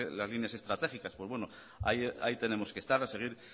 las líneas estratégicas pues bueno ahí tenemos que estar a seguir